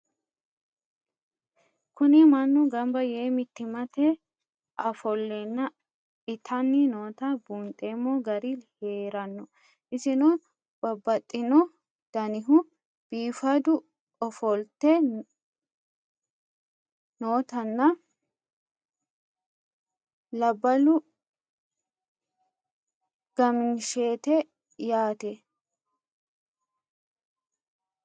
Kuni mannu gamba yee mitimate afolena itanni noota bundhemo gari heerano isino babaxino danihu bifadu ofolite nootana labalu gaminasheti yaate?